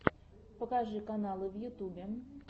покажи каналы в ютубе